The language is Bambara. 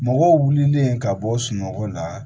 Mɔgɔw wulilen ka bɔ sunɔgɔ la